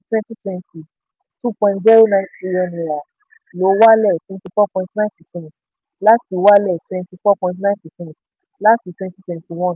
twenty twenty two point ṣero nine trillion naira lọ wálẹ̀ twenty four point nine percent láti wálẹ̀ twenty four point nine percent láti twenty twenty one.